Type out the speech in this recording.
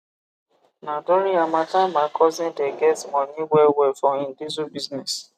na during harmattan my cousin de get moni well well for him diesel business